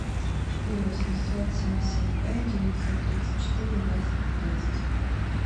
четыре восемьсот семьдесят пять девятьсот тридцать четыре двадцать пятнадцать